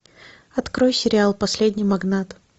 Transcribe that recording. открой сериал последний магнат